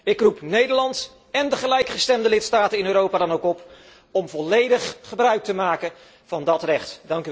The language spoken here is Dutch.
Ik roep Nederland en de gelijkgestemde lidstaten in Europa dan ook op om volledig gebruik te maken van dat recht.